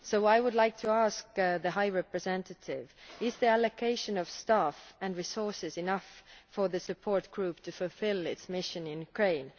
So I would like to ask the High Representative is the allocation of staff and resources enough for the Support Group to fulfil its mission in Ukraine?